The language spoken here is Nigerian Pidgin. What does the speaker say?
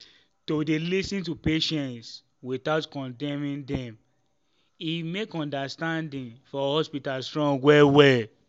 to dey lis ten to patients without condemning dem e make understanding for hospital strong well well.